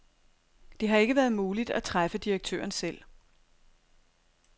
Det har ikke været muligt at træffe direktøren selv.